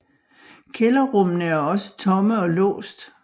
Kælderrummene er også tomme og låst